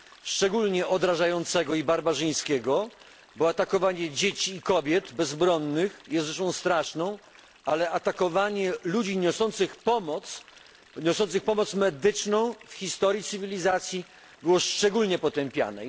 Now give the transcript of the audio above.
szczególnie odrażającego i barbarzyńskiego, bo atakowanie bezbronnych dzieci i kobiet jest rzeczą straszną, ale atakowanie ludzi niosących im pomoc, niosących pomoc medyczną, w historii cywilizacji było szczególnie potępiane.